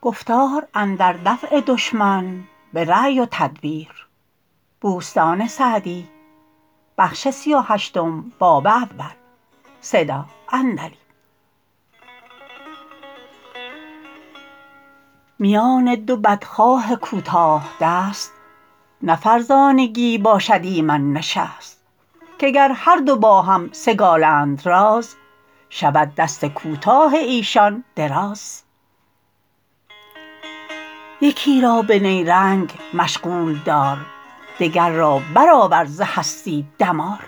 میان دو بدخواه کوتاه دست نه فرزانگی باشد ایمن نشست که گر هر دو باهم سگالند راز شود دست کوتاه ایشان دراز یکی را به نیرنگ مشغول دار دگر را برآور ز هستی دمار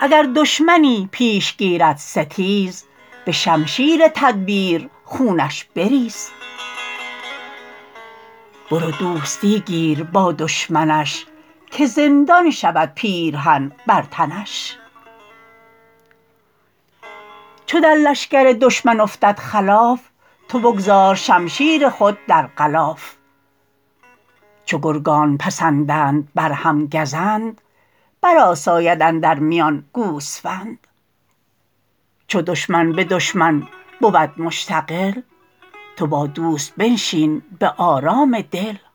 اگر دشمنی پیش گیرد ستیز به شمشیر تدبیر خونش بریز برو دوستی گیر با دشمنش که زندان شود پیرهن بر تنش چو در لشکر دشمن افتد خلاف تو بگذار شمشیر خود در غلاف چو گرگان پسندند بر هم گزند بر آساید اندر میان گوسفند چو دشمن به دشمن بود مشتغل تو با دوست بنشین به آرام دل